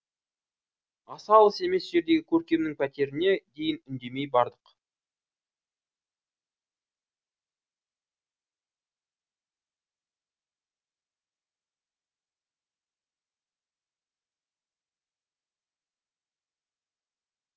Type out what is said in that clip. аса алыс емес жердегі көркемнің пәтеріне дейін үндемей бардық